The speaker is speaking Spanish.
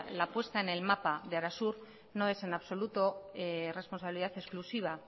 la puesta en el mapa de arasur no es en absoluto responsabilidad exclusiva